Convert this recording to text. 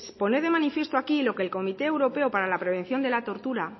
pone de manifiesto aquí lo que el comité europeo para la prevención de la tortura